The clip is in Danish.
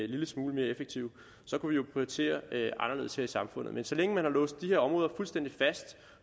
lille smule mere effektive så kunne vi jo prioritere anderledes her i samfundet men så længe man har låst de her områder